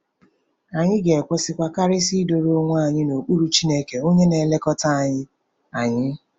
Anyị ga-ekwesịkwa, karịsịa, ‘ịdọrọ onwe anyị n’okpuru Chineke,’ onye na-elekọta anyị. anyị.